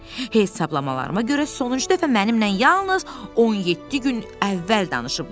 Hesablamalarıma görə sonuncu dəfə mənimlə yalnız 17 gün əvvəl danışıblar.